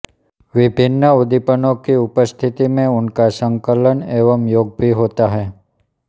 विभिन्न उद्दीपनों की उपस्थिति में उनका संकलन एवं योग भी होता है